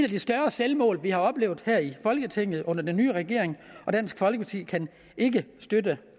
de større selvmål vi har oplevet her i folketinget under den nye regering og dansk folkeparti kan ikke støtte